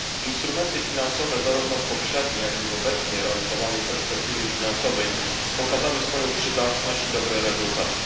Instrumenty finansowe, zarówno w poprzedniej, jak i w obecnie realizowanej perspektywie finansowej, pokazały swoją przydatność i dobre rezultaty.